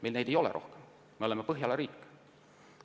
Meil ei ole neid rohkem, me oleme Põhjala riik.